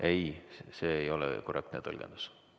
Ei, see ei ole korrektne tõlgendus.